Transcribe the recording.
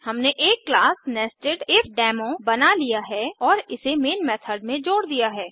हमने एक class nested if demo बना लिया है और इसे मेन मेथड में जोड़ दिया है